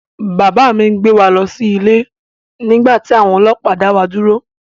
Bàbá mi ń gbé wa lọ sí ilé nígbà tí àwọn ọlọ́pàá dá wa dúró